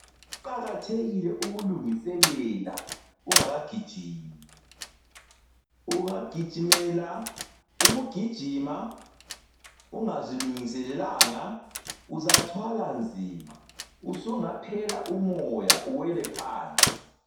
Kuqakathekile ukulungiselela ungakagijimi. Ungagijimela ukugijima ungazilungiselelanga uzathwala nzima, usungaphela umoya uwele phansi.